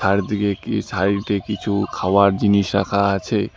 চারদিকে কী সাইড -এ কিছু খাওয়ার জিনিস রাখা আছে।